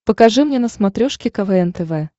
покажи мне на смотрешке квн тв